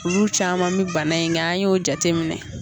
Olu caman mɛ bana in kɛ an y'o jate minɛ.